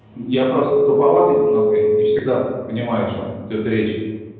я просто туповатый немного не всегда понимаю о чем идёт речь